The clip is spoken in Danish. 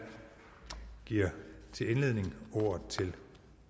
giver til indledning ordet til